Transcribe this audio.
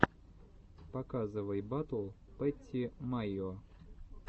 показывай батл пэтти майо